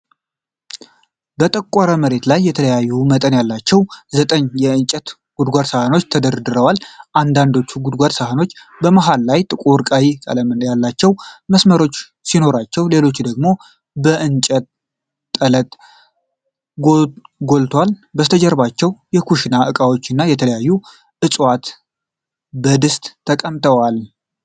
በጠቆረ መሬት ላይ የተለያየ መጠን ያላቸው ዘጠኝ የእንጨት ጎድጓዳ ሳህኖች ተደርድረዋል። አንዳንዶቹ ጎድጓዳ ሳህኖች በመሃሉ ላይ ጥቁር ቀይ ቀለም ያላቸው መስመሮች ሲኖሯቸው፣ ሌሎች ደግሞ የእንጨት ጥለት ጎልቶአል። ከበስተጀርባው የኩሽና እቃዎች እና የተለያዩ ዕፅዋት በድስት ተቀምጠዋል።